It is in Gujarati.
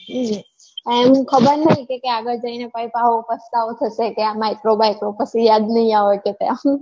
આમ ખબર નઈ કે આગળ જઈને પસ્તાવો થશે કે આ micro બાકરો કશું યાદ નઈ આવે કે ત્યાં